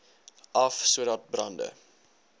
af sodat brande